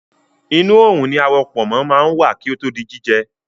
Inu oòrùn ni awọ pọ̀nmó máa ń wà kí ó tó di jíjẹ